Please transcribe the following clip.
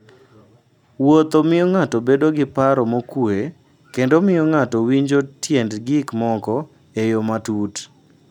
Wuotho miyo ng'ato bedo gi paro mokuwe kendo miyo ng'ato winjo tiend gik moko e yo matut.